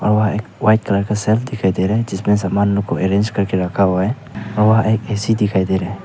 वहां एक white colour का शेल्फ दिखाई दे रहा है जिसमें सामानों को अरेंज करके रखा हुआ है और वहां एक ए_सी दिखाई दे रहा है।